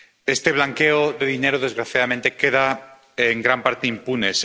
Este blanqueo de dinero, desgraciadamente, queda en gran parte impune.